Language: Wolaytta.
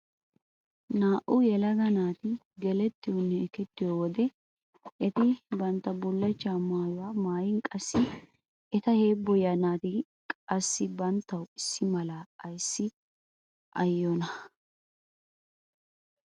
Naa"u yelaga naati gelettiyonne ekettiyo wode eti bantta bullachcha maayuwa maayin qassi eta heebboyiya naati qassi banttawu issi mala ayissiaayiyonaa?